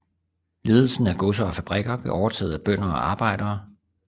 Ledelsen af godser og fabrikker blev overtaget af bønder og arbejdere